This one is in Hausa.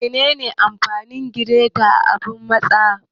Menene amfanin gireta da abun matsa?